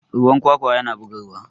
ruwan kwakwa yana bugarwa